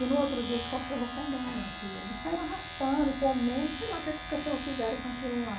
E no outro dia os cachorros pegaram aquilo e saíram arrastando, comendo, sei lá o que é que os cachorros fizeram com aquilo lá.